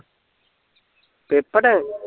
paper